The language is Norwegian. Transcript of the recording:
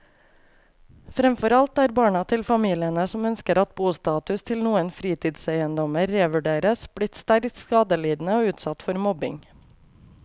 Fremfor alt er barna til familiene som ønsker at bostatus til noen fritidseiendommer revurderes, blitt sterkt skadelidende og utsatt for mobbing.